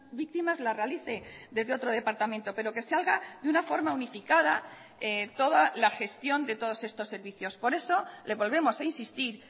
víctimas la realice desde otro departamento pero que salga de una forma unificada toda la gestión de todos estos servicios por eso le volvemos a insistir